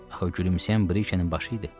Axı gülümsəyən Brikenin başı idi.